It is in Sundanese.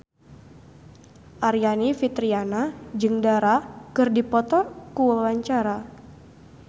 Aryani Fitriana jeung Dara keur dipoto ku wartawan